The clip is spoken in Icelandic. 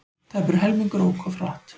Tæpur helmingur ók of hratt